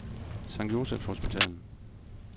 Sct.Josephs Hospital